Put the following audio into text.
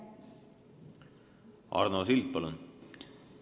Arno Sild, palun!